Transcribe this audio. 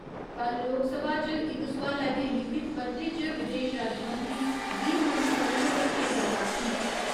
कल्ल लोकसभा च इक सोआलै दे लिखित परते च विदेश राज्यमंत्री वी . मुरलीधरन होरें एह् गल्ल आक्खी।